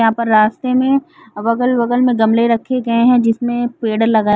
यहा पर रास्ते में अगल बगल में गमले रखे गए है जिसमे पेड़ लगा--